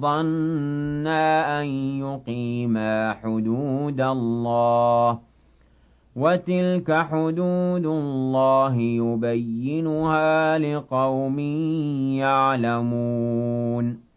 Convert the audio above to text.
ظَنَّا أَن يُقِيمَا حُدُودَ اللَّهِ ۗ وَتِلْكَ حُدُودُ اللَّهِ يُبَيِّنُهَا لِقَوْمٍ يَعْلَمُونَ